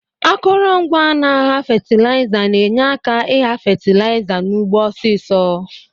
Akọrọngwa n'agha fatilaiza na enye aka igha fatilaiza n'ugbo ọsisọ.